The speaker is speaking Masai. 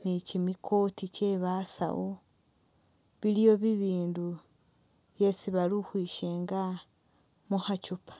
nikyimi coat kyebasasu, iliwo bibindu byesi balikhukhwishenga mukhakyupa